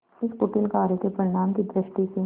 इस कुटिल कार्य के परिणाम की दृष्टि से